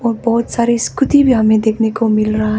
और बहुत सारी स्कूटी भी हमें देखने को मिल रहा है।